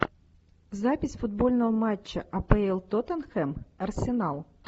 запись футбольного матча апл тоттенхэм арсенал